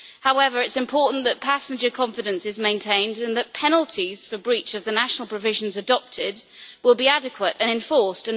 However, it is important that passenger confidence is maintained and that penalties for breaches of the national provisions adopted will be adequate and enforced.